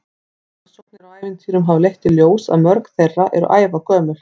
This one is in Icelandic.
Rannsóknir á ævintýrum hafa leitt í ljós að mörg þeirra eru ævagömul.